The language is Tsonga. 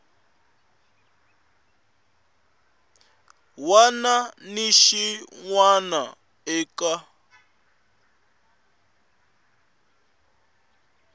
wana ni xin wana eka